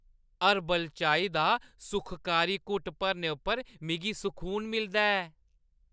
Herbal चाही दा सुखकारी घुट्ट भरने उप्पर मिगी सकून मिलदा ऐ।